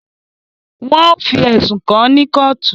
Wọn o fi ẹsùn kàn ní kootu